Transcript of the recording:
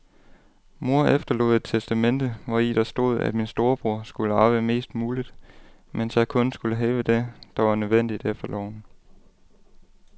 Mor efterlod et testamente, hvori der stod, at min storebror skulle arve mest muligt, mens jeg kun skulle have det, der var nødvendigt efter loven.